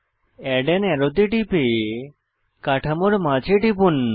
add on আরো তে টিপে কাঠামোর মাঝে টিপুন